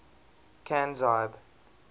canzibe